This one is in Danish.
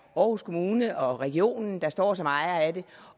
aarhus kommune og regionen der står som ejer af det